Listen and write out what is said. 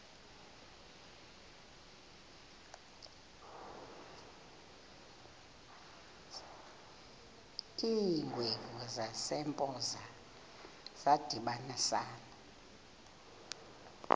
iingwevu zasempoza zadibanisana